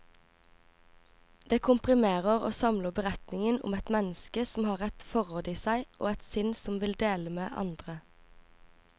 Det komprimerer og samler beretningen om et menneske som har et forråd i seg, og et sinn som vil dele med andre.